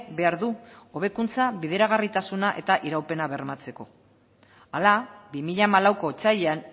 behar du hobekuntza bideragarritasuna eta iraupena bermatzeko hala bi mila hamalauko otsailean